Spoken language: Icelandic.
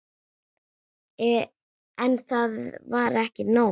En það var ekki nóg.